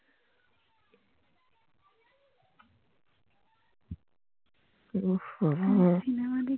ওঃ বাবা